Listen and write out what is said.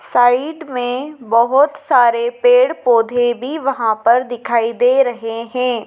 Side में बहोत सारे पेड़ पौधे भी वहां पर दिखाई दे रहे हैं।